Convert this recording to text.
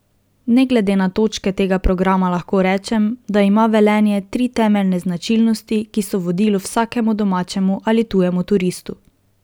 Ne glede na točke tega programa lahko rečem, da ima Velenje tri temeljne značilnosti, ki so vodilo vsakemu domačemu ali tujemu turistu.